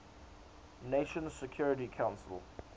nations security council